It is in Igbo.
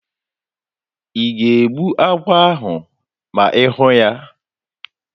Ị ga-egbu agwọ ahụ ma ị hụ ya?